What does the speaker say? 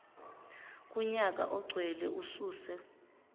kunyaka ogcwele ususe